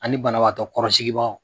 Ani banabagatɔ kɔrɔsigi bagaw.